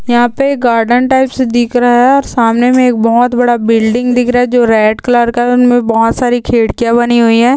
यहाँ पे garden types दिख रहा है और सामने मे एक बहुत बड़ा बिल्डिंग दिख रहा है जो रेड कलर का है उनमे बहुत सारी खिड़किया बनी हुई है।